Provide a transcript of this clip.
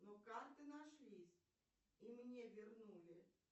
но карты нашлись и мне вернули